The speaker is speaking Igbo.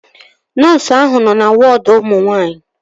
Nọọsu ahụ nọ na wọọdu ụmụ nwaanyị